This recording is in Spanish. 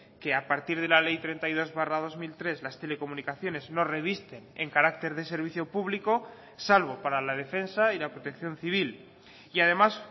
que a partir de la ley treinta y dos barra dos mil tres las telecomunicaciones no revisten en carácter de servicio público salvo para la defensa y la protección civil y además